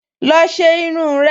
Lọ ṣe irun rẹ!